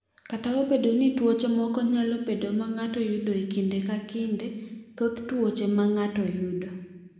"Kata obedo ni tuoche moko nyalo bedo ma ng’ato yudo e kinde ka kinde, thoth tuoche ma ng’ato yudo